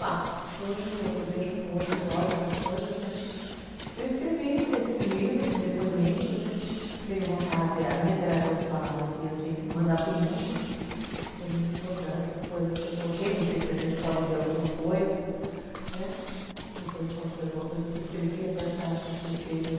Lá, hoje eu vejo com outros olhos as coisas, né. Eu escrevi esse livro esse depoimento, né. Tenho vontade é a minha terapeuta falava que eu tinha que mandar para o mundo é muito importante as coisas que eu coloquei não sei se a gente pode ler alguma coisa, né, depois eu posso ler uma coisa que escrevi até para vocês verem